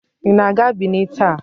Ị na-aga Benin taa?